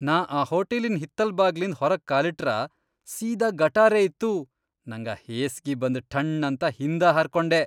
ನಾ ಆ ಹೋಟಲಿನ್ ಹಿತ್ತಲ್ ಬಾಗ್ಲಿಂದ್ ಹೊರಗ್ ಕಾಲಿಟ್ರ ಸೀದಾ ಗಟಾರೇ ಇತ್ತು, ನಂಗ ಹೇಸ್ಗಿ ಬಂದ್ ಠಣ್ಣಂತ ಹಿಂದ ಹಾರಕೊಂಡೆ.